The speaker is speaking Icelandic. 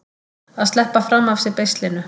Að sleppa fram af sér beislinu